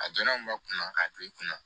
A donna mun ma kunna k'a don i kunna